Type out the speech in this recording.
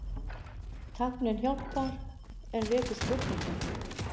Tæknin hjálpar en vekur spurningar